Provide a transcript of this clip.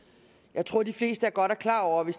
jeg tror de fleste godt er klar over det